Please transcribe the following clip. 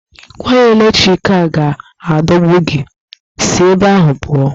Waya eletriki a ga-adọgbu gị, si ebe ahụ pụọ!